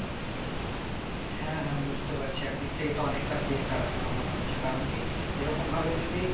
হ্যাঁ হ্যাঁ বুঝতে পারছি একদিক থেকে তো অনেকটা better আমার মনে হচ্ছে কারণ কি এরকম ভাবে যদি